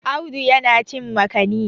Audu yana cin makani